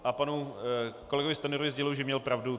A panu kolegovi Stanjurovi sděluji, že měl pravdu.